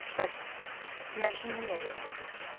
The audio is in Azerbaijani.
Bəs nəşin niyə belə ağır gəlir?